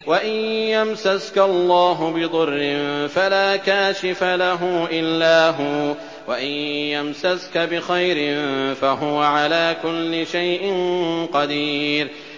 وَإِن يَمْسَسْكَ اللَّهُ بِضُرٍّ فَلَا كَاشِفَ لَهُ إِلَّا هُوَ ۖ وَإِن يَمْسَسْكَ بِخَيْرٍ فَهُوَ عَلَىٰ كُلِّ شَيْءٍ قَدِيرٌ